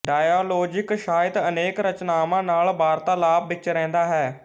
dialogic ਸਾਹਿਤ ਅਨੇਕ ਰਚਨਾਵਾਂ ਨਾਲ ਵਾਰਤਾਲਾਪ ਵਿੱਚ ਰਹਿੰਦਾ ਹੈ